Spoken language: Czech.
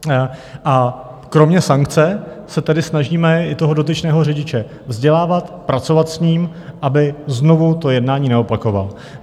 A kromě sankce se tedy snažíme i toho dotyčného řidiče vzdělávat, pracovat s ním, aby znovu to jednání neopakoval.